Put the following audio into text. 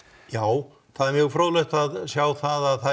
já það er mjög fróðlegt að sjá það